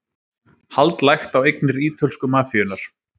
Hald lagt á eignir ítölsku mafíunnar